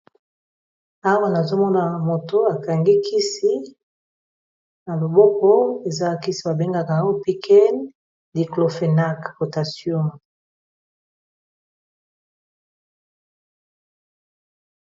Awa nazomona moto akangi kisi na loboko eza kisi babengaka ango picken nik lopenag potacium.